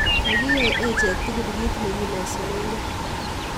Kakiyai achek tugul kit ne kilosunegei